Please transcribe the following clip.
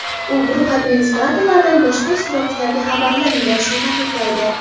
U guruh administratorlaridan boshqa ishtirokchilarga xabarlar yuborishni taqiqlaydi.